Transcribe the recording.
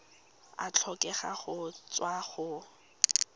a tlhokega go tswa go